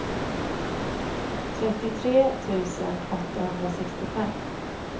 trettiotre tusen åttahundrasextiofem